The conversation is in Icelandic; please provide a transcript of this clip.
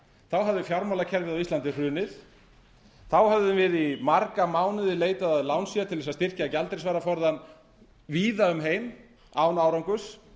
þá hafði fjármálakerfið á íslandi hrunið þá höfðum við í marga mánuði leitað að lánsfé til að byggja gjaldeyrisvaraforðann víða um heim án árangurs